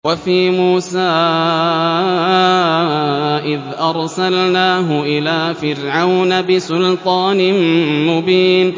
وَفِي مُوسَىٰ إِذْ أَرْسَلْنَاهُ إِلَىٰ فِرْعَوْنَ بِسُلْطَانٍ مُّبِينٍ